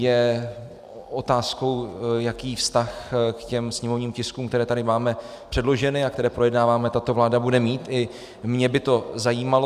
Je otázkou, jaký vztah k těm sněmovním tiskům, které tady máme předloženy a které projednáváme, tato vláda bude mít, i mě by to zajímalo.